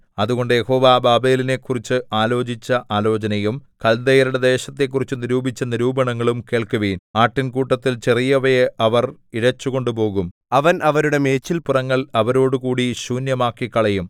അതുകൊണ്ട് യഹോവ ബാബേലിനെക്കുറിച്ച് ആലോചിച്ച ആലോചനയും കല്ദയരുടെ ദേശത്തെക്കുറിച്ച് നിരൂപിച്ച നിരൂപണങ്ങളും കേൾക്കുവിൻ ആട്ടിൻകൂട്ടത്തിൽ ചെറിയവയെ അവർ ഇഴച്ചുകൊണ്ടുപോകും അവൻ അവരുടെ മേച്ചിൽപ്പുറങ്ങൾ അവരോടുകൂടി ശൂന്യമാക്കിക്കളയും